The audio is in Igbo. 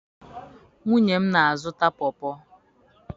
Nwunye m na-azụta pọọ pọọ.